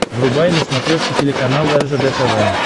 врубай на смотрешке телеканал ржд тв